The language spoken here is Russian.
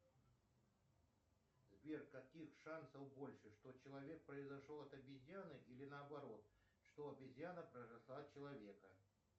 сбер каких шансов больше что человек произошел от обезьяны или наоборот что обезьяна произошла от человека